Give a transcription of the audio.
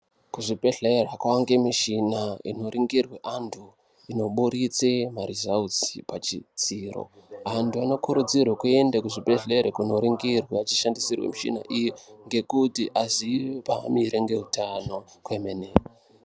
Ku zvibhedhlera kwange mishina ino ringirwe antu ino buditse ma rizautsi pa chidziro antu anokurudzirwe kuende ku zvibhedhlera kuno ringirwa achi shandisirwa michina iyi ngekuti aziye pa amire nge utano kwemene.